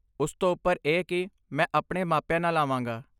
ਉਸ ਤੋਂ ਉੱਪਰ ਇਹ ਕਿ ਮੈਂ ਆਪਣੇ ਮਾਪਿਆਂ ਨਾਲ ਆਵਾਂਗਾ।